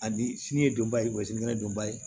Ani fiɲɛ donba ye kɔsugu ye donba ye